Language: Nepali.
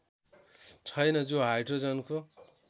छैन जो हाइड्रोजनको